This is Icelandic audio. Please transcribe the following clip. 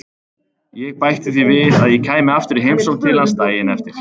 Ég bætti því við að ég kæmi aftur í heimsókn til hans daginn eftir.